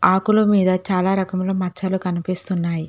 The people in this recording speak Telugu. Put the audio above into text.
ఆకుల మీద చాలా రకములో మచ్చలు కనిపిస్తున్నాయి.